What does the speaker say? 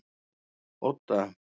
Odda